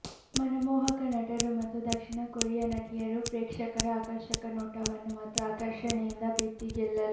ಮನಮೋಹಕ ನಟರು ಮತ್ತು ದಕ್ಷಿಣ ಕೊರಿಯಾ ನಟಿಯರು ಪ್ರೇಕ್ಷಕರ ಆಕರ್ಷಕ ನೋಟವನ್ನು ಮತ್ತು ಆಕರ್ಷಣೆಯಿಂದ ಪ್ರೀತಿ ಗೆಲ್ಲಲು